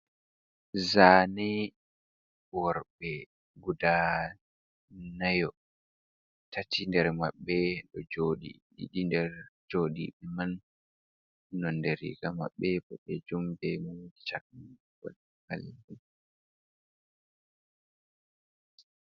Zane, worɓe guda nayo, tati nder maɓɓe do joɗi ɗiɗi nder joɗi man nonde riga maɓbe ɓodejum be caɓɓal.